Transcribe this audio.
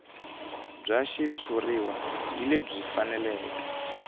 bya xitshuriwa hi lebyi faneleke